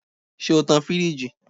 Ṣe o tan-an firiji?